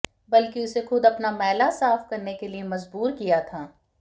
बल्कि उसे खुद अपना मैला साफ करने के लिए मजबूर भी किया था